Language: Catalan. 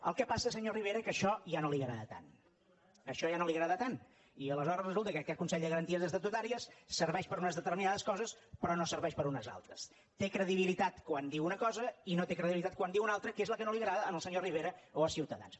el que passa senyor rivera que això ja no li agrada tant això ja no li agrada tant i aleshores resulta que aquest consell de garanties estatutàries serveix per a unes determinades coses però no serveix per a unes altres té credibilitat quan diu una cosa i no té credibilitat quan en diu una altra que és la que no li agrada al senyor rivera o a ciutadans